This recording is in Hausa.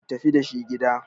ku tafi da shi gida!